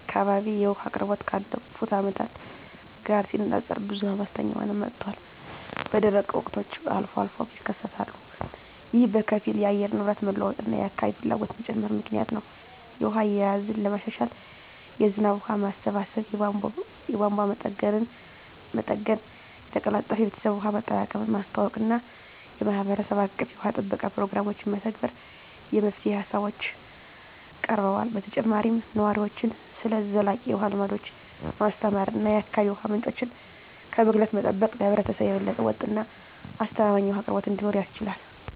በእኔ አካባቢ የውሃ አቅርቦት ካለፉት አመታት ጋር ሲነፃፀር ብዙም አስተማማኝ እየሆነ መጥቷል፣ በደረቅ ወቅቶች አልፎ አልፎም ይከሰታሉ። ይህ በከፊል የአየር ንብረት መለዋወጥ እና የአካባቢ ፍላጎት መጨመር ምክንያት ነው. የውሃ አያያዝን ለማሻሻል የዝናብ ውሃ ማሰባሰብ፣ የቧንቧ መጠገንና መጠገን፣ የተቀላጠፈ የቤተሰብ ውሃ አጠቃቀምን ማስተዋወቅ እና የማህበረሰብ አቀፍ የውሃ ጥበቃ ፕሮግራሞችን መተግበር የመፍትሄ ሃሳቦች ቀርበዋል። በተጨማሪም ነዋሪዎችን ስለ ዘላቂ የውሃ ልምዶች ማስተማር እና የአካባቢ የውሃ ምንጮችን ከብክለት መጠበቅ ለህብረተሰቡ የበለጠ ወጥ እና አስተማማኝ የውሃ አቅርቦት እንዲኖር ያስችላል።